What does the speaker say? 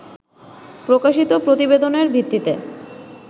প্রকাশিত প্রতিবেদনের ভিত্তিতে